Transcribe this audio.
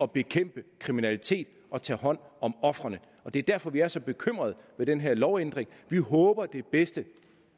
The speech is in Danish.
at bekæmpe kriminalitet og tage hånd om ofrene og det er derfor at vi er så bekymrede for den her lovændring vi håber det bedste